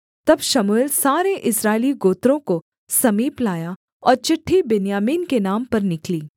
तब शमूएल सारे इस्राएली गोत्रों को समीप लाया और चिट्ठी बिन्यामीन के नाम पर निकली